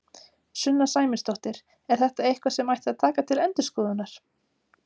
Sunna Sæmundsdóttir: Er þetta eitthvað sem að ætti að taka til endurskoðunar?